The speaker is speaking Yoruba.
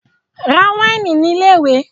Ra wáìnì ní ilé-ìwé!